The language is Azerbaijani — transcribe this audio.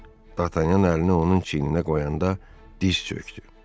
D'Artagnan əlini onun çiyninə qoyanda diz çökdü.